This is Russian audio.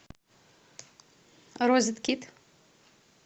розеткид